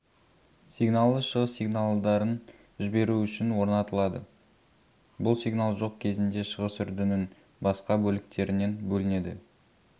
сигналы шығыс сигналдарын жіберу үшін орнатылады бұл сигнал жоқ кезінде шығыс үрдінің басқа бөліктерінен бөлінеді